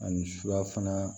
Ani surafana